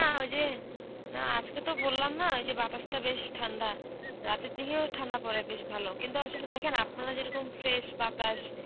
না ওই যে. না আজকে তো বললাম না, ওই যে বাতাসটা বেশ ঠান্ডা. রাতের দিকেও ঠান্ডা পরে বেশ ভালো, কিন্তু আসলে দেখেন আপনারা যেরকম fresh বাতাস